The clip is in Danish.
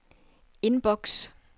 indboks